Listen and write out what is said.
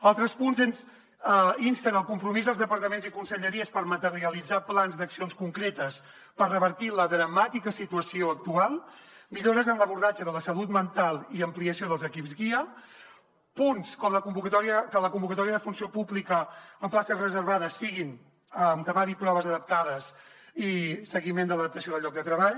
altres punts insten al compromís dels departaments i conselleries per materialitzar plans d’accions concretes per revertir la dramàtica situació actual millores en l’abordatge de la salut mental i ampliació dels equips guia punts com que la convocatòria de funció pública amb places reservades sigui amb temari proves adaptades i seguiment de l’adaptació del lloc de treball